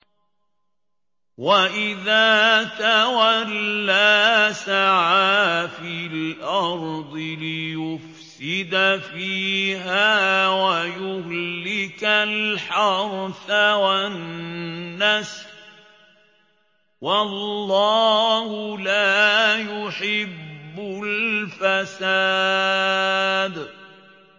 وَإِذَا تَوَلَّىٰ سَعَىٰ فِي الْأَرْضِ لِيُفْسِدَ فِيهَا وَيُهْلِكَ الْحَرْثَ وَالنَّسْلَ ۗ وَاللَّهُ لَا يُحِبُّ الْفَسَادَ